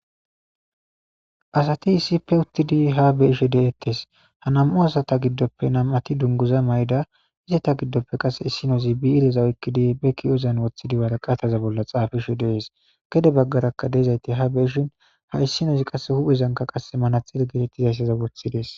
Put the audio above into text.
Asati issippe uttidi ha be ishe de'ettes ha nam'o asata giddoppe nam'ati dunguza mayda izeta giddoppe qase issinozi bi ireza oykkidi be ki'ozan woththidiwaraqataza bolla xaafiishe deees gede baggarakka deezayti ha beishin ha issinozi qase huphezanka qas manatxere getettizayssaza woththides.